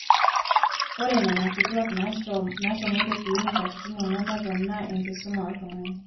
ore nena kituaak naashomoita clinic katitin ong'wan nepona enaa enkisuma oltung'ani